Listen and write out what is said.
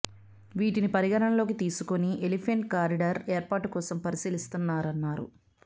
వీటిని పరిగణనలోకి తీసుకుని ఎలిఫెంట్ కారిడార్ ఏర్పాటు కోసం పరిశీలిస్తారన్నారు